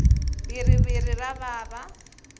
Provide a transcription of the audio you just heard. bhiriviri ra vava